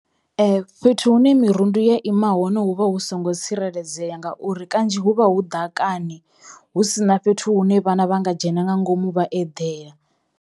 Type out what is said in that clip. Ee. Fhethu hune mirundu ya ima hone hu vha hu songo tsireledzea ngauri kanzhi hu vha hu ḓakani hu sina fhethu hu ne vhana vha nga dzhena nga ngomu vha eḓela.